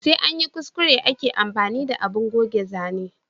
Sai anyi kuskure ake amfani da abun goge zane